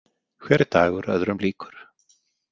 Hver dagur öðrum líkur.